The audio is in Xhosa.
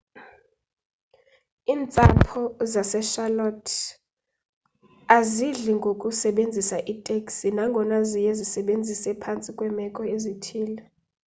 iintsapho zasecharlotte azidli ngokusebenzisa iiteksi nangona ziye zizisebenzise phantsi kweemeko ezithile